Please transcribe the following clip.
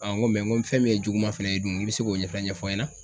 n ko fɛn min ye juguman fɛnɛ ye dun i bi se k'o ɲɛfɔ ɲɛfɔ n ɲɛna.